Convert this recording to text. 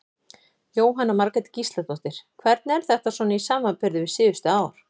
Jóhanna Margrét Gísladóttir: Hvernig er þetta svona í samanburði við síðustu ár?